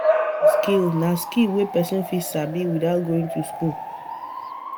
Hands-on skill na skill wey persin fit sabi without going to school